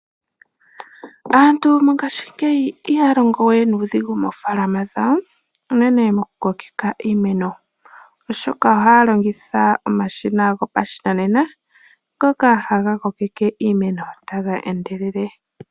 Aantu oyendji mongashingeyi ihaya longowe nuudhigu mofaalama dhawo unene moku kokeka iimeno oshoka ohaya longitha omashina goshinanena ngoka haga kokeke iimeno taga endelele.